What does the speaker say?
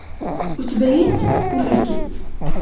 у тебя есть улики